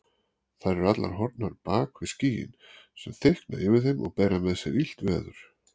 Þær eru allar horfnar bak við skýin sem þykkna yfir þeim og bera með sér illt veður.